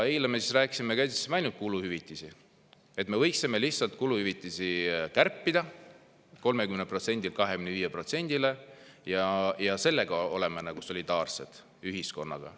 Eile me käsitlesime ainult kuluhüvitisi, et me võiksime lihtsalt kuluhüvitisi kärpida 30%‑lt 25%‑le ja sellega oleme solidaarsed ühiskonnaga.